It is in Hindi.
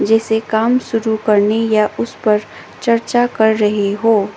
जैसे काम शुरू करने या उस पर चर्चा कर रही हो।